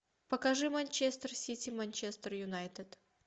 покажи манчестер сити манчестер юнайтед